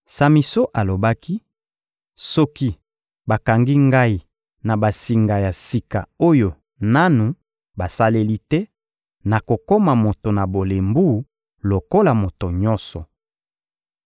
Samison alobaki: — Soki bakangi ngai na basinga ya sika oyo nanu basaleli te, nakokoma moto na bolembu lokola moto nyonso.